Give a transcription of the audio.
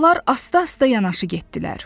Onlar asta-asta yanaşı getdilər.